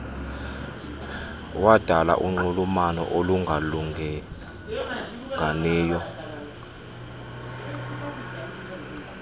wadala unxulumano olungalinganiyo